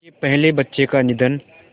उनके पहले बच्चे का निधन